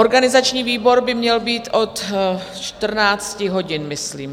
Organizační výbor by měl být od 14 hodin, myslím.